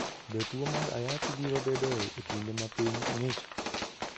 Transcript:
Be tuwo mar Ayaki biro bedoe e kinde ma piny ng'ich?